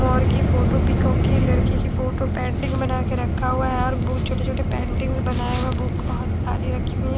और की photo peacock की लड़की की फोटो पेंटिंग बनाकर रखा हुआ है और वह छोटे छोटे पेंटिंग बनाया हुआ बुक बहोत सारी रखी हुई हैं।